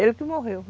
Ele que morreu.